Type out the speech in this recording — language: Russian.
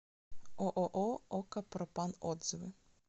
ооо ока пропан отзывы